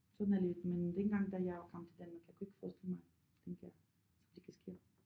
Sådan er livet men dengang da jeg kom til Danmark jeg kunne ikke forestille mig den der det kan ske